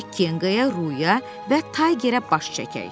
Gedək Kenqaya, Ruya və Taygerə baş çəkək.